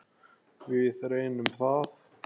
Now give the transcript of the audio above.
Við reynum það.